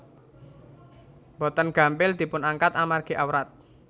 Boten gampil dipunangkat amargi awrat